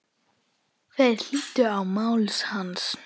Þeir hlýddu á mál hans.